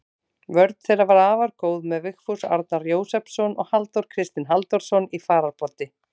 Vörn þeirra var afar góð með Vigfús Arnar Jósepsson og Halldór Kristinn Halldórsson í fararbroddi.